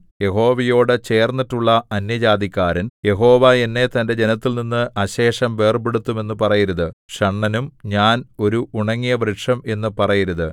യഹോവയോടു ചേർന്നിട്ടുള്ള അന്യജാതിക്കാരൻ യഹോവ എന്നെ തന്റെ ജനത്തിൽനിന്ന് അശേഷം വേർപെടുത്തും എന്നു പറയരുത് ഷണ്ഡനും ഞാൻ ഒരു ഉണങ്ങിയ വൃക്ഷം എന്നു പറയരുത്